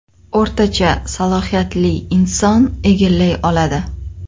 O‘rtacha salohiyatli inson egallay oladi.